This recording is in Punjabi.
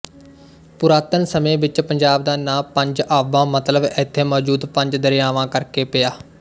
ਪੁਰਾਤਨ ਸਮੇਂ ਵਿੱਚ ਪੰਜਾਬ ਦਾ ਨਾਂ ਪੰਜ ਆਬਾਂ ਮਤਲਬ ਇੱਥੇ ਮੌਜੂਦ ਪੰਜ ਦਰਿਆਵਾਂ ਕਰਕੇ ਪਿਆ